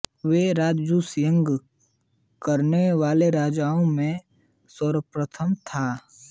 वे राजसूय यज्ञ करने वाले राजाओं में सर्वप्रथम था